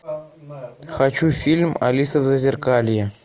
хочу фильм алиса в зазеркалье